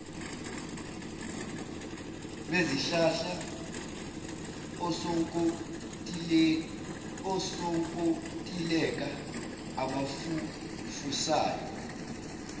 bezihlahla osonkontileka abafufusayo